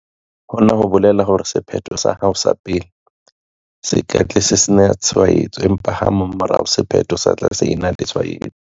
Hona ho bolela hore sephetho sa hao sa pele se ka tla se sena tshwaetso, empa ha mmamora sephetho sa tla se ena le tshwaetso.